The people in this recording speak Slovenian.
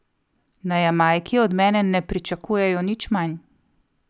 Na Jamajki od mene ne pričakujejo nič manj.